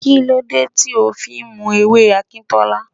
Kí ló dé tí o fí ń mu ewé Akintola?